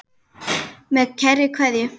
Með kærri kveðju.